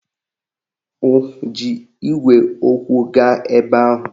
Ọ ji igwe okwu gaa ebe ahụ?